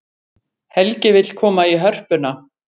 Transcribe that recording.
Helgi vill koma í Hörpuna